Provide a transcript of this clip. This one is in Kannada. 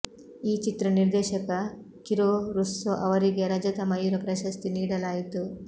ಈ ಚಿತ್ರ ನಿರ್ದೇಶಕ ಕಿರೊ ರುಸ್ಸೊ ಅವರಿಗೆ ರಜತ ಮಯೂರ ಪ್ರಶಸ್ತಿ ನೀಡಲಾಯಿತು